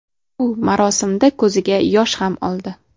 U marosimda ko‘ziga yosh ham oldi.